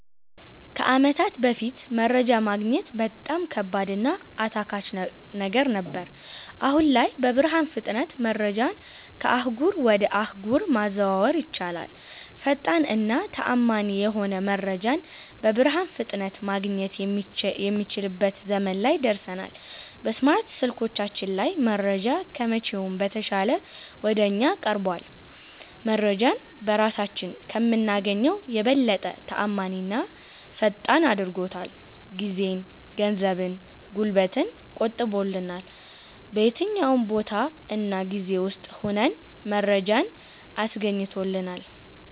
ከአመታት በፋት መረጃ ማግኘት በጣም ከባድ እና አታካች ነገር ነበር። አሁን ላይ በብርሃን ፍጥነት መረጃን ከአህጉር ወጀ አህጉር ማዘዋወር ይቻላል። ፈጣን እና ተአመኒ የሆነ መረጃን በብርሃን ፍጥነት ማገኘት የሚችልበት ዘመን ላይ ደርሠናል። በስማርት ስልኮቻችን ላይ መረጃ ከመቼውም በተሻለ ወደ እኛ ቀርቧል። መረጄን በራሳችን ከምናገኘው የበለጠ ተአማኒና ፈጣን አድርጎታል። ጊዜን፣ ገንዘብን፣ ጉልበትን ቆጥቦልናል። በየትኛውም ቦታ እና ጊዜ ውስጥ ሁነን መረጃን አስገኝቶልናል።